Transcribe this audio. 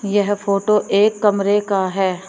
यह फोटो एक कमरे का है।